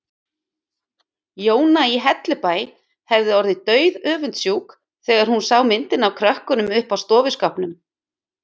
Jóna í Hellubæ hefði orðið dauðöfundsjúk þegar hún sá myndina af krökkunum uppi á stofuskápnum.